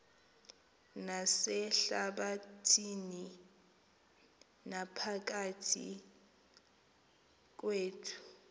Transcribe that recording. nasehlabathini naphakathi kwethu